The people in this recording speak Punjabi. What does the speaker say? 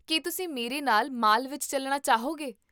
ਕੀ ਤੁਸੀਂ ਮੇਰੇ ਨਾਲ ਮਾਲ ਵਿੱਚ ਚੱਲਣਾ ਚਾਹੋਗੇ?